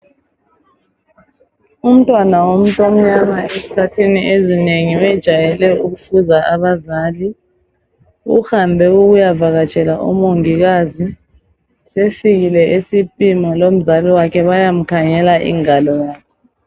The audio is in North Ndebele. Umntwana womuntu omnyama ezikhathini ezinengi wayejayele ukusiza abazali uhambe ukuyavatshela omongikazi sefikile esipima lomzali wakhe bayamkhangela ingalo yakhe